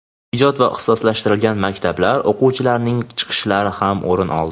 ijod va ixtisoslashtirilgan maktablar o‘quvchilarining chiqishlari ham o‘rin oldi.